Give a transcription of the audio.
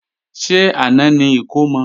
Ṣé àná ni ìkómọ?